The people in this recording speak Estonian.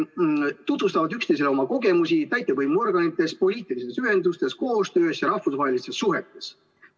Nad tutvustavad üksteisele oma kogemusi täitevvõimuorganites, poliitilistes ühendustes, koostöös ja rahvusvahelistes suhetes.